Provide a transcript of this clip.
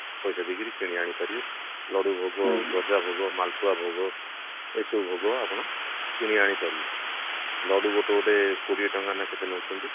ପଇସା ଦେଇକିରି କିଣି ଆଣି ପାରିବେ ଲଡୁ ଭୋଗ ଗଜା ଭୋଗ ମାଲପୁଆ ଭୋଗ ଏସବୁ ଭୋଗ ଆପଣ କିଣି ଆଣି ପାରିବେ ଲଡୁ ଗୋଟେ ଗୋଟେ କୋଡିଏ ଟଙ୍କା ନା କେତେ ନଉଛନ୍ତି